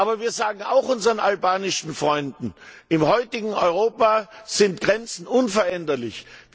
Aber wir sagen auch unseren albanischen Freunden Im heutigen Europa sind Grenzen unveränderlich.